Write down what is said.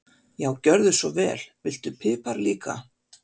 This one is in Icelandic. Já, gjörðu svo vel. Viltu pipar líka?